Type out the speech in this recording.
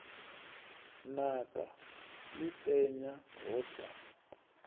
naka ḽi penya ho sa